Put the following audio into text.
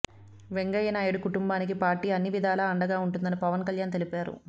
వెంగయ్య నాయుడు కుటుంబానికి పార్టీ అన్ని విధాలా అండగా ఉంటుందని పవన్ కళ్యాణ్ తెలిపారు